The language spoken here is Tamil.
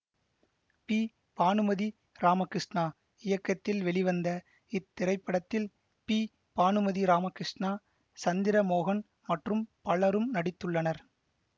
பி பானுமதி ராமகிருஷ்ணா இயக்கத்தில் வெளிவந்த இத்திரைப்படத்தில் பி பானுமதி ராமகிருஷ்ணா சந்திரமோகன் மற்றும் பலரும் நடித்துள்ளனர்